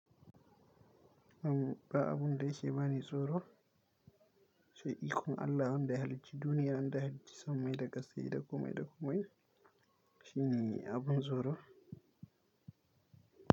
Am, ba abun da yake bani tsoro. Sai ikon Allah wanda ya halicci duniya, wanda ya halicci sammai da ƙasa, da komai da komai. Shi ne abin tsoro.